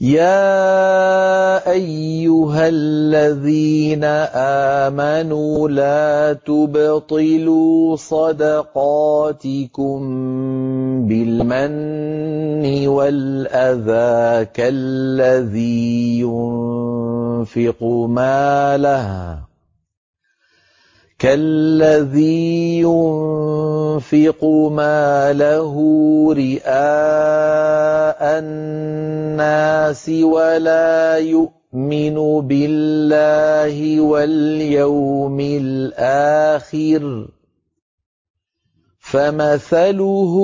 يَا أَيُّهَا الَّذِينَ آمَنُوا لَا تُبْطِلُوا صَدَقَاتِكُم بِالْمَنِّ وَالْأَذَىٰ كَالَّذِي يُنفِقُ مَالَهُ رِئَاءَ النَّاسِ وَلَا يُؤْمِنُ بِاللَّهِ وَالْيَوْمِ الْآخِرِ ۖ فَمَثَلُهُ